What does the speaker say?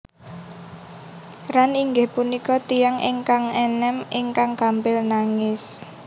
Ran inggih punika tiyang ingkang enem ingkang gampil nangis